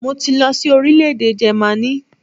Mo ti lọ sí orílẹ̀-èdè Jẹ́mánì